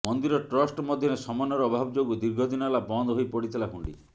ମନ୍ଦିର ଟ୍ରଷ୍ଟ ମଧ୍ୟରେ ସମନ୍ୱୟର ଅଭାବ ଯୋଗୁ ଦୀର୍ଘଦିନ ହେଲା ବନ୍ଦ ହୋଇପଡିଥିଲା ହୁଣ୍ଡି